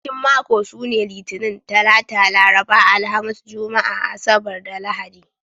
Kwanakin mako sune Litinin, Talata, Laraba, Alhamis, Juma'a, Asabar, da Lahadi.